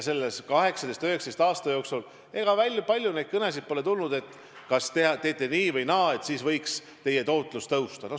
Selle 18–19 aasta jooksul pole tulnud kõnesid, et kui teete nii või naa, siis võiks teie tootlus tõusta.